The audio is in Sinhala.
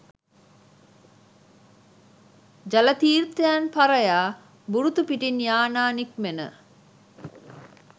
ජල තීර්ථයන් පරයා බුරුතු පිටින් යානා නික්මෙන